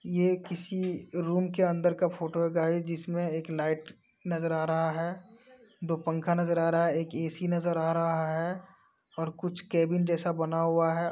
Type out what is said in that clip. ये किसी रूम के अंदर की फोटो है गाइस जिसमें एक लाइट नजर आ रहा है। दो पंखा नजर आ रहा है। एक ए.सी. नजर आ रहा है और कुछ केबिन जैसा बना हुआ है।